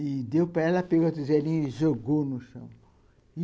E deu para ela, pegou a tigelinha e jogou no chão.